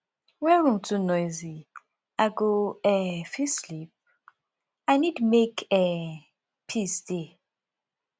when room too noisy i go um fit sleep i need make um peace dey